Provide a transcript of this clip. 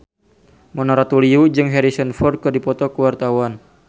Mona Ratuliu jeung Harrison Ford keur dipoto ku wartawan